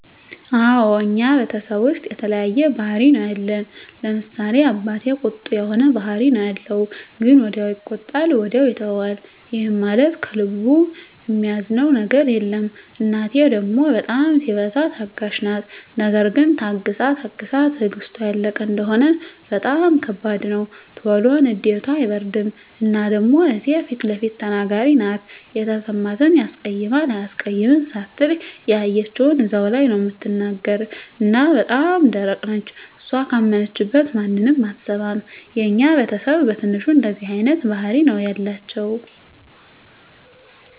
አወ እኛ ቤተሰብ ዉስጥ የተለያየ ባህሪ ነዉ ያለን፤ ለምሳሌ፦ አባቴ ቁጡ የሆነ ባህሪ ነዉ ያለዉ ግን ወዲያዉ ይቆጣል ወዲያዉ ይተወዋል ይህም ማለት ከልቡ እሚይዘዉ ነገር የለም፣ እናቴ ደሞ በጣም ሲበዛ ታጋሽ ናት ነገር ግን ታግሳ ታግሳ ትግስቷ ያለቀ እንደሆነ በጣም ከባድ ነዉ። ቶሎ ንዴቷ አይበርድም እና ደሞ እህቴ ፊለፊት ተናጋሪ ናት የተሰማትን ያስቀይማል አያስቀይምም ሳትል ያየችዉን እዛዉ ላይ ነዉ እምትናገር እና በጣም ደረቅ ነች እሷ ካመነችበት ማንንም አትሰማም። የኛ ቤተስብ በትንሹ እንደዚህ አይነት ባህሪ ነዉ ያላቸዉ።